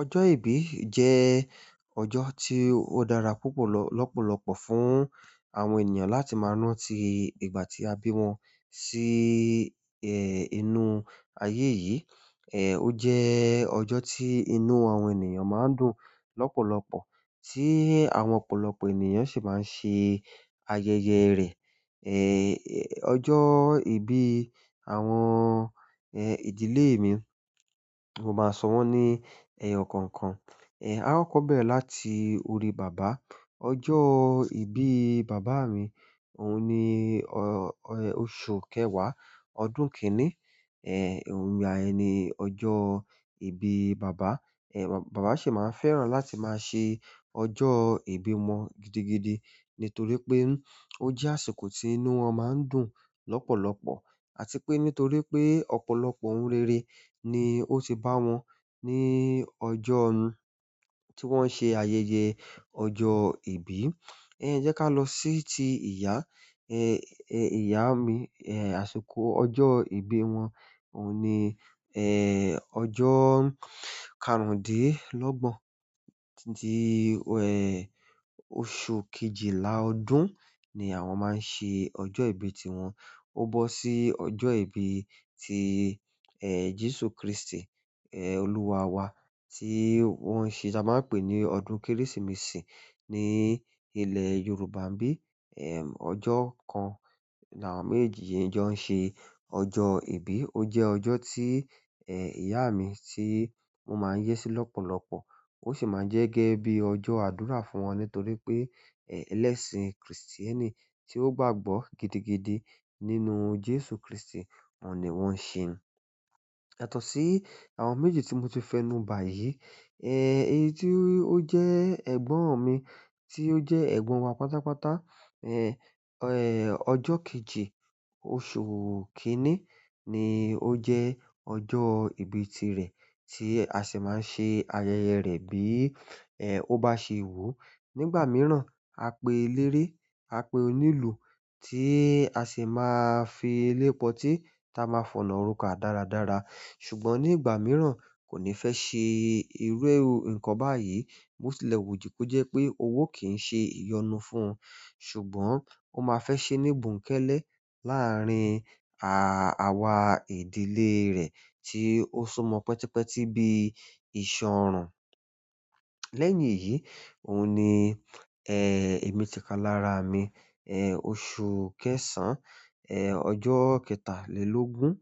Ọjọ́ ìbí jẹ́ ọjọ́ tí ó dára púpọ̀ lọ́pọ̀lọpọ̀ fún àwọn ènìyàn láti máa rántí ìgbà tí a bí wọn sí ẹ̀ inú ayé yìí. Ẹ̀. Ó jẹ́ ọjọ́ tí inú àwọn ènìyàn máa ń dùn lọ́pọ̀lọpọ̀ tí àwọn ọ̀pọ̀lọpọ̀ ènìyàn sì máa ń ṣe ayẹyẹ rẹ̀. Ẹ̀ ẹ̀. Ọjọ́ ìbí àwọn ẹ̀ ìdílé mi, mo máa sọ wọ́n ní ẹyọ kọ̀ọ̀kan. Ẹ̀. A kọ́kọ̀ bẹ̀rẹ̀ láti orí bàbá. Ọjọ́ ìbí bàbá mi, òun ni ọ-ọ́ oṣù kẹwàá ọdún kíní. Ẹ̀. Òun ìgbà yen ni ọjọ́ ìbí bàbá. Ẹ̀. Bàbá sì máa ń fẹ́ràn láti máa ṣe ọjọ́ ìbí wọn gidigidi nítorí pé ó jẹ́ àsìkò tí inú wọn máa ń dùn lọ́pọ̀lọpọ̀ àti pé nítorí pé ọ̀pọ̀lọpọ̀ ohun rere ni ó ti bá wọn ní ọjọ́ ọ̀ún tí wọ́n ṣe ayẹyẹ ọjọ́ ìbí. E ejeka lo si ti iya. Ẹ̀ ẹ̀. Iyá mi, ẹ̀ àsìkò ọjọ́ ìbí wọn òun ni ẹ̀ ọjọ́ karùndínlọ́gbọ̀n tí ẹ̀ oṣù kejìlá ọdún ni àwọn máa ń ṣe ọjọ́ ìbí tiwọn. Ó bọ́ sí ọjọ́ ìbí ti ẹ̀ Jésù Kristi ẹ̀ Olúwa wa tí wọ́n ṣe, ta máa ń pè ní ọdún Kérésìmesì ní ilẹ̀ Yorùbá ń bí. Ẹ̀. Ọjọ́ kan láàwon méjeji yi jọ́n ṣe ọjọ́ ìbí. Ó jẹ́ ọjọ́ tí ẹ̀ ìyá mi tí won máa ń yé sí lọ́pọ̀lọpọ̀. Ó sì máa ń jẹ́ gẹ́gẹ́ bí ọjọ́ àdúrà fún wọn nítorí pé ẹ̀ lẹ́sìn kìrìsìtẹ́nì tí ó gbàgbọ́ gidigidi nínú Jésù Kristi, oun ni wọ́n ń ṣe. Yatọ̀ọ́ sí àwọn méjì tí mo ti fẹ́ nu báyìí, ẹ̀ èyí tí ó jẹ́ ẹ̀gbọ́n mi tí ó jẹ́ ẹ̀gbọ́n wa pátápátá, ẹ̀ ẹ̀ ọjọ́ kejì oṣù kínní ni ó jẹ ọjọ́ ìbí ti rẹ̀ tí a sì máa ń ṣe ayẹyẹ rẹ̀ bí ẹ̀ ó bá ṣe wù ú. Nígbà mìíràn, a pé eléré, a pé onílù tí a sì máa fi ilépotí ta máa fọ̀nà roka dáradára. Ṣùgbọ́n ni ìgbà mìíràn koni fe se iru nǹkan báyìí bo sì lẹ wu ju ko jẹ́ pé owó kì ń ṣe ìyọnu fún un. Ṣùgbọ́n ó máa fẹ́ ṣe ní bonkẹ́lẹ́ láàárín àwà ìdílé rẹ̀ tí ó sumọ pẹ́tipẹ́ti bí ìṣan orùn. Lẹ́yìn èyí, òun ni ẹ̀ èmi ti kalára mi, ẹ̀ oṣù kẹsàn-án, ẹ̀ ọjọ́ kẹtàlélógún,